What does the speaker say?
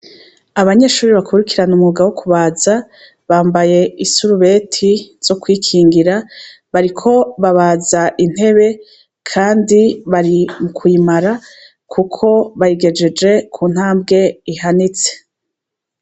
Abanyeshure bakurikirana umwuga wo kubaza bambaye isurubeti zo kwikingira bariko babaza intebe kandi bari mukuyimara kuko bayigejeje ku ntambwe ihanitse.